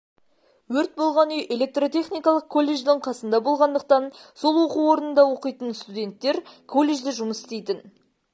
өрт болған үй электротехникалық колледждін қасында болғандықтан сол оқу орынында оқитын студенттер колледжде жұмыс істейтін